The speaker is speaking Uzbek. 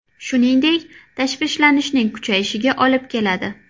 Shuningdek, tashvishlanishning kuchayishiga olib keladi.